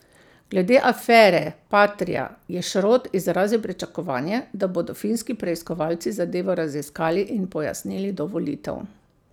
Glede afere patria je Šrot izrazil pričakovanje, da bodo finski preiskovalci zadevo raziskali in pojasnili do volitev.